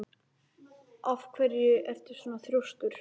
Af hverju ertu svona þrjóskur, Hrönn?